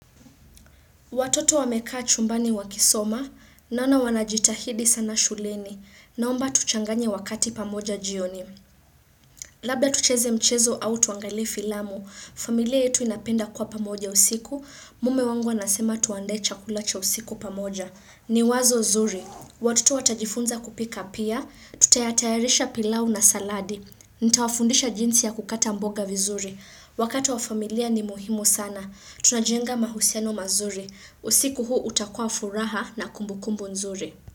Watoto wamekaa chumbani wakisoma, naona wanajitahidi sana shuleni, naomba tuchanganye wakati pamoja jioni. Labda tucheze mchezo au tuangalie filamu, familia yetu inapenda kuwa pamoja usiku, mume wangu anasema tuandae chakula cha usiku pamoja. Ni wazo zuri. Watoto watajifunza kupika pia, tutayatayarisha pilau na saladi. Nitawafundisha jinsi ya kukata mboga vizuri. Wakati wa familia ni muhimu sana. Tunajenga mahusiano mazuri. Usiku huu utakuwa furaha na kumbu kumbu nzuri.